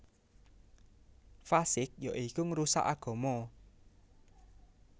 Fasiq ya iku ngrusak agama